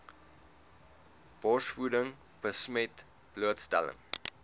borsvoeding besmet blootstelling